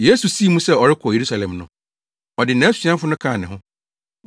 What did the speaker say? Yesu sii mu sɛ ɔrekɔ Yerusalem no, ɔde nʼasuafo no kaa ne ho.